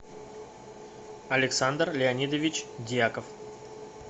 александр леонидович дьяков